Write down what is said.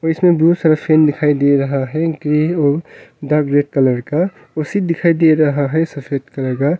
और इसमें बहुत सारे फैन दिखाई दे रहा हैं ग्रे और डार्क ग्रे कलर का कुर्सी दिखाई दे रहा है सफेद कलर का।